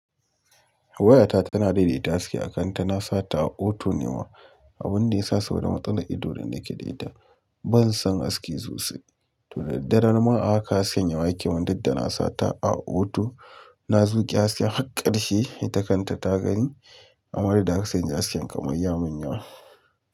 Wayata tana daidaita haske a kanta, nasa ta a auto ne ma, abunda yasa sabida matsalar ido da nake da ita. Bansan haske sosai, toh da daddare ma haka hasken yawa yake mun duk da nasa ta a auto, na zuƙe hasken har ƙarshe, ita kanta ta gani amma duk da haka hasken kamar ya mun yawa.